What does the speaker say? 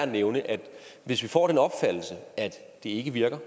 nævne at hvis vi får den opfattelse at det ikke virker